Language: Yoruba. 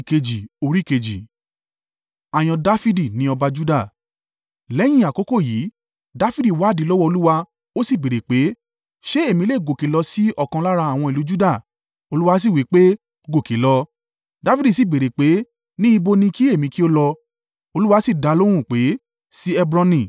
Lẹ́yìn àkókò yìí, Dafidi wádìí lọ́wọ́ Olúwa. Ó sì béèrè pé, “Ṣé èmi lè gòkè lọ sí ọ̀kan lára àwọn ìlú Juda?” Olúwa sì wí pé, “Gòkè lọ.” Dafidi sì béèrè pé, “Ní ibo ni kí èmi kí ó lọ?” Olúwa sì dá a lóhùn pé, “Sí Hebroni.”